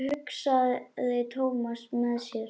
hugsaði Thomas með sér.